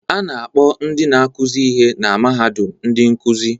A na-akpọ ndị na-akụzi ihe na mahadum ndị nkuzi